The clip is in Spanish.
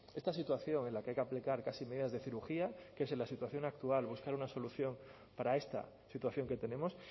esta situación en la que hay que aplicar casi medidas de cirugía que es en la situación actual buscar una solución para esta situación que tenemos